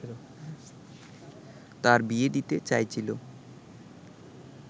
তার বিয়ে দিতে চাইছিল